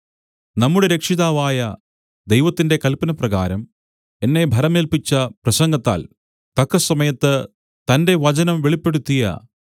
നമ്മുടെ രക്ഷിതാവായ ദൈവത്തിന്റെ കല്പനപ്രകാരം എന്നെ ഭരമേല്പിച്ച പ്രസംഗത്താൽ തക്കസമയത്ത് തന്റെ വചനം വെളിപ്പെടുത്തിയ